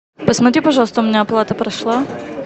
посмотри пожалуйста у меня оплата прошла